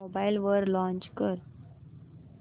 mobile वर launch कर